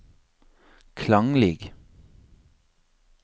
klanglig